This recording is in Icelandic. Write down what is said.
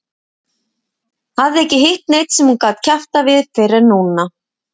Hafði ekki hitt neinn sem hún gat kjaftað við fyrr en núna.